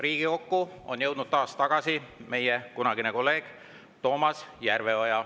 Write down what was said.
Riigikokku on jõudnud taas tagasi meie kunagine kolleeg Toomas Järveoja.